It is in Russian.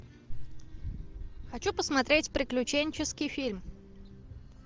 хочу посмотреть приключенческий фильм